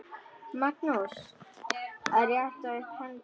Magnús: Að rétta upp hendi.